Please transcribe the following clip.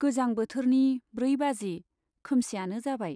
गोजां बोथोरनि ब्रै बाजि, खोमसियानो जाबाय।